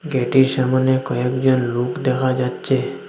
গেটের সামনে কয়েকজন লুক দেখা যাচ্ছে।